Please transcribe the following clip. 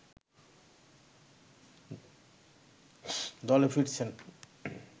দলে ফিরছেন